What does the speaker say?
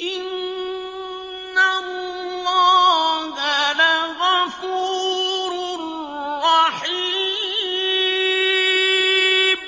إِنَّ اللَّهَ لَغَفُورٌ رَّحِيمٌ